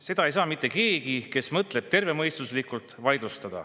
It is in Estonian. Seda ei saa vaidlustada mitte keegi, kes mõtleb tervemõistuslikult.